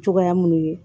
Cogoya munnu ye